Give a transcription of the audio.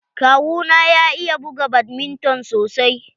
Kawu na ya iya buga badminton sosai.